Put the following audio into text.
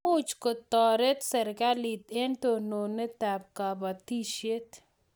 Much ko taret serikalit eng' tononet ab kabatishet